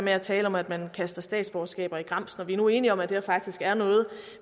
at tale om at man kaster statsborgerskaber i grams når vi nu er enige om at det faktisk er noget